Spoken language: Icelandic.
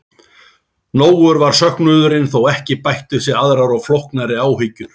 Nógur var söknuðurinn þó ekki bættust við aðrar og flóknari áhyggjur.